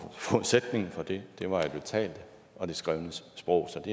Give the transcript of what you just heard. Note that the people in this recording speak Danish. forudsætningen for det var jo det talte og det skrevne sprog som